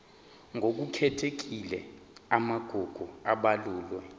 ngokukhethekile amagugu abalulwe